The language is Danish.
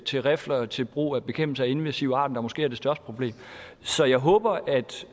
til rifler til brug ved bekæmpelse af invasive arter der måske er det største problem så jeg håber at